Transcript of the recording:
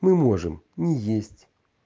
мы можем не есть